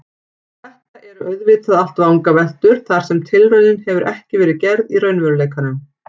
Þetta eru auðvitað allt vangaveltur þar sem tilraunin hefur ekki verið gerð í raunveruleikanum.